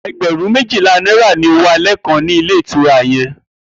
E̩gbè̩rún méjìlá náírà ni owó owó alé̩ kan ní ilé ìtura ye̩n